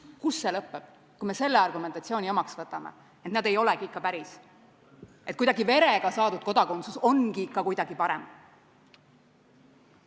Kus see lõppeb, kui me selle argumentatsiooni omaks võtame, et nad ei olegi ikka päris, et verega saadud kodakondsus ongi ikka kuidagi parem?